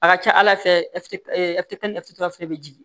A ka ca ala fɛ fɛnɛ bɛ jigin